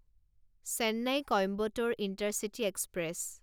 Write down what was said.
Chennai Coimbatore intercity express